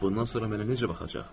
Bundan sonra mənə necə baxacaq?